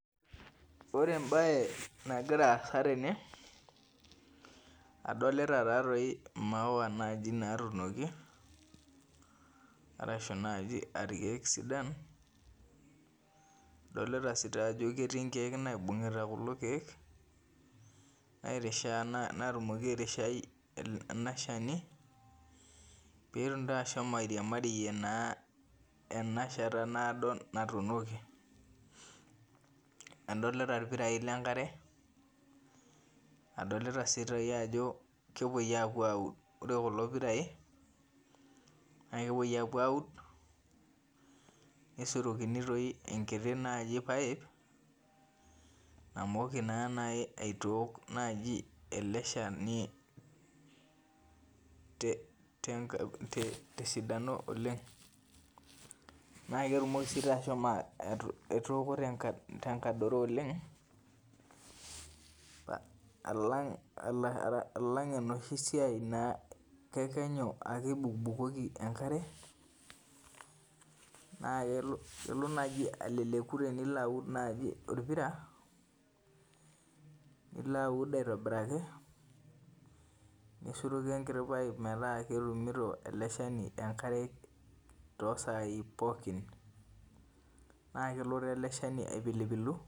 Ore embae nagira aasa tene adolta nau maua natuunoki ashu irkiek sidan adolta ajo ketii irkiek oibungita kuna kiek nairishaa petum ashom airiamarie na enashata naado natuunokibadolta irpirai enkare adolta ajo ore kulo pirai na kepuoi aud nisurokini enkiri paip namoki aitook ele shani tesidano oleng na kerumoki ashomo aitooko tenkadoro oleng alang enoshi siai na kekenyu ibukoki enkare nakelo naji alaleku tenilo aud orpira nilobaud aitobiraki nisuroki enkiti paip metaabibukokito enkare tosai pooki n kelo na eleshani apiupilu.